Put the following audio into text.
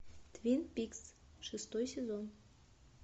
твин пикс шестой сезон